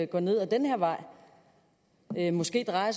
går ned ad den her vej måske er